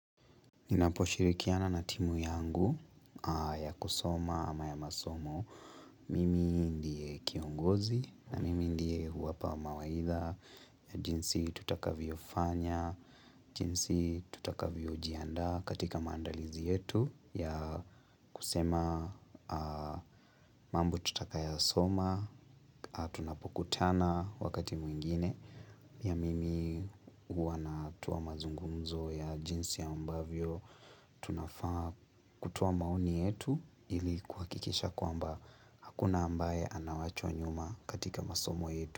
Ninaposhirikiana na timu yangu ya kusoma ama ya masomo Mimi ndie kiongozi na mimi ndie huwapa mawaidha jinsi tutakavyofanya, jinsi tutakavyojiandaa katika mandalizi yetu ya kusema mambo tutakayoyasoma, tunapokutana wakati mwingine pia mimi huwa natoa mazungunzo ya jinsi ambavyo, tunafaa kutoa maoni yetu ili kuhakikisha kwamba hakuna ambaye anawachwa nyuma katika masomo yetu.